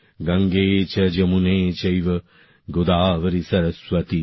গঙ্গে চ যমুনে চৈব গোদাবরী সরস্বতী